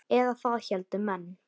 Eða það héldu menn.